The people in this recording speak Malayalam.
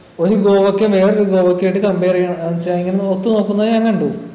ഒരു ഗോവക്കയെ വേറൊരു കോവക്കയായിട്ട് compare എയ്യാൻ എന്നു വച്ചാ ഇങ്ങനെ ഒത്തു നോക്കുന്ന ഞാൻ കണ്ടു